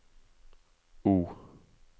O